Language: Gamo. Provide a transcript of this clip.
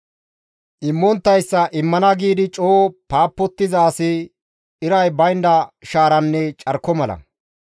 Immonttayssa, «Immana» giidi coo paapottiza asi iray baynda shaaranne carko mala.